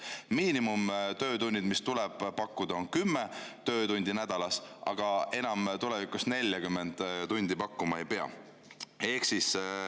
Miinimumtöötunnid, mis tuleb pakkuda, on 10 töötundi nädalas, aga tulevikus 40 tundi enam pakkuma ei pea.